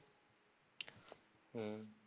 হম